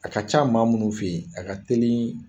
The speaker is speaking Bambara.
A ka ca maa minnu fɛ yen a ka teli